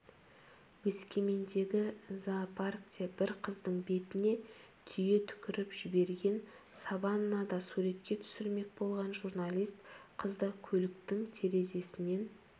өскемендегі зоопаркте бір қыздың бетіне түйе түкіріп жіберген саваннада суретке түсірмек болған журналист қызды көліктің терезесінен